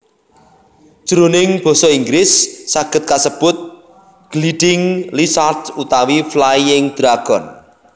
Jroning basa Inggris saged kasebut gliding lizards utawi flying dragon